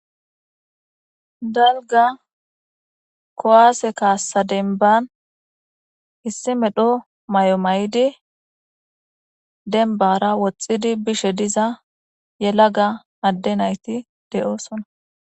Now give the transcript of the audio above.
dalga kowaase kaassa denban issi medho may7o may7idi denbara woxxidi bishe diza yelaga adde nayti de7oosona